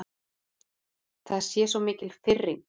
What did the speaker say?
Það sé svo mikil firring.